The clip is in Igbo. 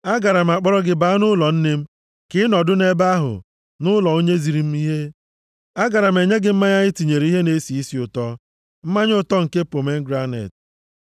Agaara m akpọrọ gị baa nʼụlọ nne m, ka ị nọdụ nʼebe ahụ, nʼụlọ onye ziri m ihe. Agaara m enye gị mmanya e tinyere ihe na-esi isi ụtọ, mmanya ụtọ nke pomegranet.